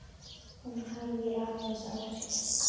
Hún hægir aðeins á sér.